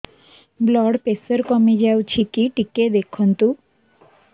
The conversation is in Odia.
ବ୍ଲଡ଼ ପ୍ରେସର କମି ଯାଉଛି କି ଟିକେ ଦେଖନ୍ତୁ